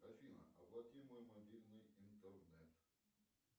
афина оплати мой мобильный интернет